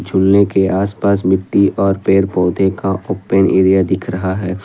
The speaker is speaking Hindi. झूलने के आसपास मिट्टी और पेड़ पौधे का ओपन एरिया दिख रहा है।